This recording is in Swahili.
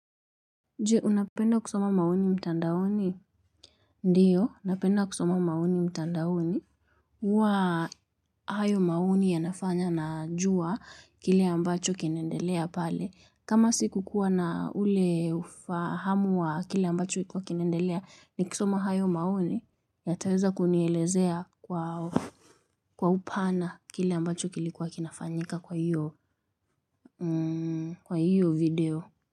Je, unapenda kusoma maoni mtandaoni? Ndiyo napenda kusoma maoni mtandaoni. Wa hayo maoni yanafanya na juwa kile ambacho kinaendelea pale. Kama siku kuwa na ule ufahamu wa kile ambacho ikuwa kinaendelea nikisoma hayo maoni yataweza kunielezea kwa upana kile ambacho kilikuwa kinafanyika kwa hiyo video.